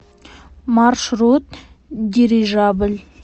маршрут дирижабль